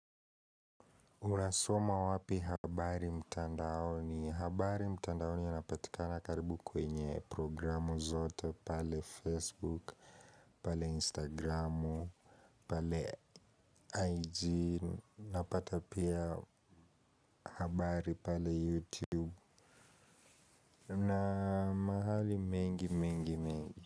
Unasoma wapi habari mtandaoni? Habari mtandaoni yanapatikana karibu kwenye programu zote pale Facebook, pale Instagramu, pale IG, napata pia habari pale YouTube. Na mahali mengi mengi mengi.